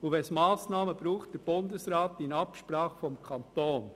Braucht es Massnahmen, erfolgen diese durch den Bundesrat in Absprache mit dem Kanton.